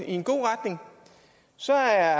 i en god retning og så er